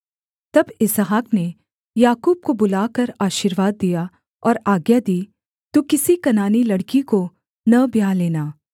तब इसहाक ने याकूब को बुलाकर आशीर्वाद दिया और आज्ञा दी तू किसी कनानी लड़की को न ब्याह लेना